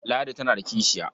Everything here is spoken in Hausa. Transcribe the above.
Ladi tana da kishiya.